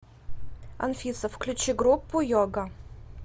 анфиса включи группу йога